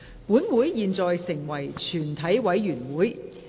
本會現在成為全體委員會。